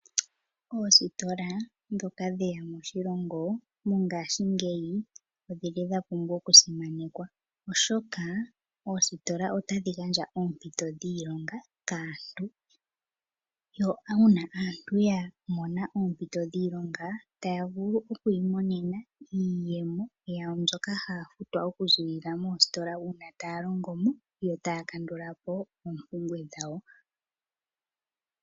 Oositola ndhoka dhe ya moshilongo mongashingeyi odha pumbwa okusimanekwa, oshoka oositola otadhi gandja oompito dhiilonga kaantu, yo uuna aantu ya mona oompito dhiilonga taya vulu oku imonena iiyemo yawo mbyoka haya futwa okuziilila moositola uuna taya longo mo yo taya kandula po oompumbwe dhawo.